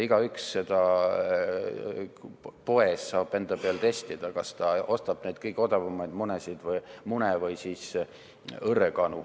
Igaüks saab poes enda peal testida, kas ta ostab kõige odavamaid mune või õrrekanade mune.